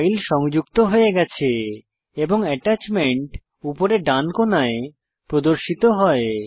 file সংযুক্ত হয়ে গেছে এবং এটাচমেন্ট উপরে ডান কোনায় প্রদর্শিত হয়